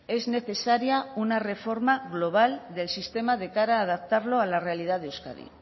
es necesaria una reforma global del sistema de cara a adaptarlo a la realidad de euskadi